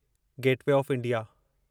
gateway of India